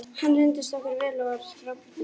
Hann reyndist okkur vel og er frábær drengur.